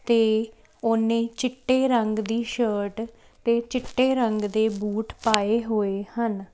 ਤੇ ਉਹਨੇ ਚਿੱਟੇ ਰੰਗ ਦੀ ਸ਼ਰਟ ਤੇ ਚਿੱਟੇ ਰੰਗ ਦੇ ਬੂਟ ਪਾਏ ਹੋਏ ਹਨ।